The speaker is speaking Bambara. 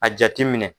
A jateminɛ